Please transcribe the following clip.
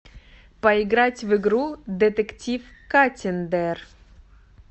поиграть в игру детектив каттиндер